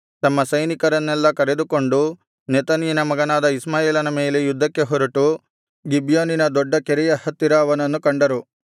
ತಮ್ಮ ಸೈನಿಕರನ್ನೆಲ್ಲಾ ಕರೆದುಕೊಂಡು ನೆತನ್ಯನ ಮಗನಾದ ಇಷ್ಮಾಯೇಲನ ಮೇಲೆ ಯುದ್ಧಕ್ಕೆ ಹೊರಟು ಗಿಬ್ಯೋನಿನ ದೊಡ್ಡ ಕೆರೆಯ ಹತ್ತಿರ ಅವನನ್ನು ಕಂಡರು